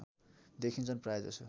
देखिन्छन् प्रायजसो